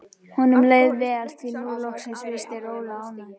Honum leið vel, því að nú loksins virtist Rola ánægð.